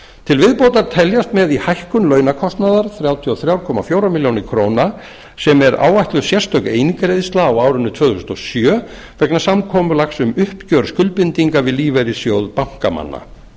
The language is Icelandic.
til viðbótar teljast með í hækkun launakostnaðar þrjátíu og þrjú komma fjórum milljónum króna sem er áætluð sérstök eingreiðsla á árinu tvö þúsund og sjö vegna samkomulags um uppgjör skuldbindinga um lífeyrissjóð bankamanna